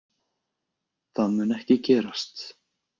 Það mun ekki gerast